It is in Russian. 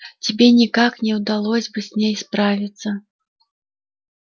тебе никак не удалось бы с ней справиться